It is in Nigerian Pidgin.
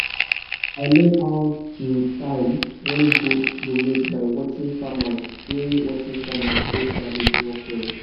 i learn how to time when goat go mate by watching farmers wey watching farmers wey sabi the work well.